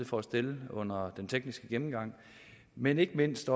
for at stille under den tekniske gennemgang men ikke mindst